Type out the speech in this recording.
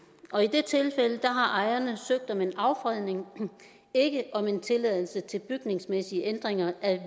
har ejerne søgt om en affredning ikke om en tilladelse til bygningsmæssige ændringer af